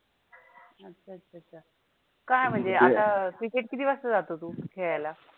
काय म्हणजे आता cricket किती वाजता जातो तु खोळायला?